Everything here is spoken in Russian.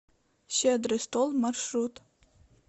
щедрый стол маршрут